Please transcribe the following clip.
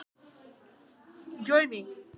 Neyddist til að opna þegar pabbi kom heim í mat.